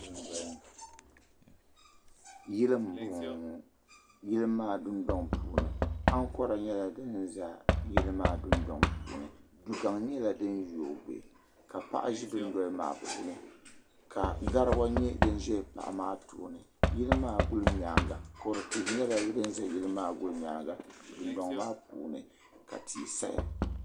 Yili m boŋɔ ŋɔ yili maa dundoŋ puuni ankora nyɛla din za yili maa dundoŋ puuni dugaŋ nyɛla din yoogi ka paɣa ʒi dundoli maa puuni ka garawa nyɛ din ʒɛ Paɣa maa tooni yili maa gulinyaanga kodu tihi nyɛla din za yili maa gulinyaanga dundoŋ maa puuni ka tihi saya.